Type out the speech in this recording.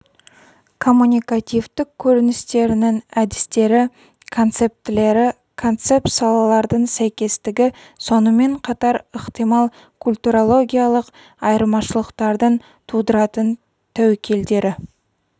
коммуникативтік көріністерінің әдістері концептілері концепт салалардың сәйкестігі сонымен қатар ықтимал культурологиялық айырмашылықтардың тудыратын тәуекелдері